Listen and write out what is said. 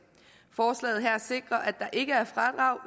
forslaget her sikrer at der ikke er fradrag